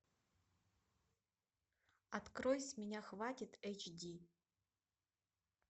открой с меня хватит эйч ди